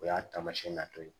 O y'a taamasiyɛn natɔ ye